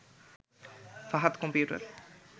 Fahad computer